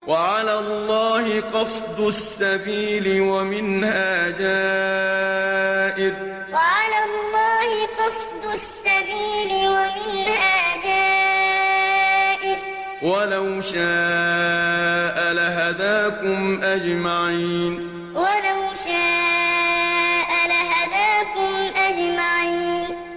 وَعَلَى اللَّهِ قَصْدُ السَّبِيلِ وَمِنْهَا جَائِرٌ ۚ وَلَوْ شَاءَ لَهَدَاكُمْ أَجْمَعِينَ وَعَلَى اللَّهِ قَصْدُ السَّبِيلِ وَمِنْهَا جَائِرٌ ۚ وَلَوْ شَاءَ لَهَدَاكُمْ أَجْمَعِينَ